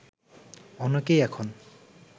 অনেকেই এখন